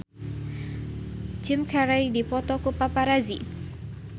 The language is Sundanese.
Jim Carey dipoto ku paparazi